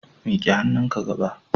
Mik'e hannunka gaba